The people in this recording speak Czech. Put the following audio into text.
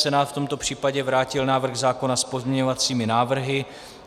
Senát v tomto případě vrátil návrh zákona s pozměňovacími návrhy.